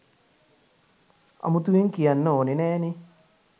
අමුතුවෙන් කියන්න ඕනේ නෑනේ